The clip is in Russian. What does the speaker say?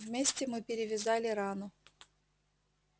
вместе мы перевязали рану